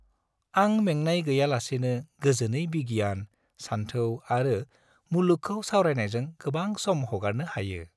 आं मेंनाय गैयालासेनो गोजोनै बिगियान, सानथौ आरो मुलुगखौ सावरायनायजों गोबां सम हगारनो हायो।